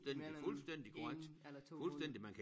Mellem 1 eller 2 måneder